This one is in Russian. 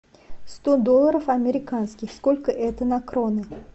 сто долларов американских сколько это на кроны